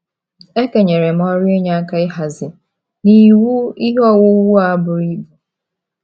E kenyere m ọrụ inye aka ịhazi na iwu ihe owuwu a buru ibu.